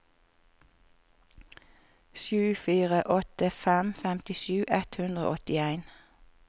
sju fire åtte fem femtisju ett hundre og åttien